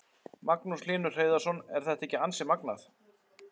Magnús Hlynur Hreiðarsson: Er þetta ekki ansi magnað?